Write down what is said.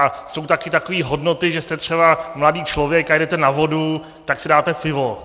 A jsou taky takové hodnoty, že jste třeba mladý člověk a jedete na vodu, tak si dáte pivo.